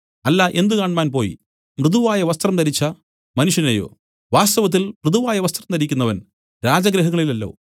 അല്ല എന്തുകാണ്മാൻ പോയി മൃദുവായവസ്ത്രം ധരിച്ച മനുഷ്യനെയോ വാസ്തവത്തിൽ മൃദുവായവസ്ത്രം ധരിക്കുന്നവർ രാജഗൃഹങ്ങളിലല്ലോ